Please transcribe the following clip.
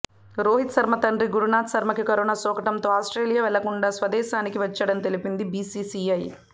రోహిత్ శర్మ తండ్రి గురునాథ్ శర్మకి కరోనా సోకడంతో ఆస్ట్రేలియా వెళ్లకుండా స్వదేశానికి వచ్చాడని తెలిపింది బీసీసీఐ